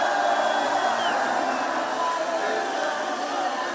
Qarabağ!